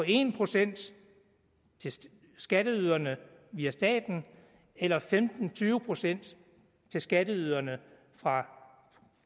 en procent til skatteyderne via staten eller femten til tyve procent til skatteyderne fra